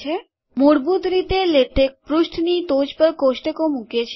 મૂળભૂત રીતે લેટેક પૃષ્ઠની ટોચ પર કોષ્ટકો મૂકે છે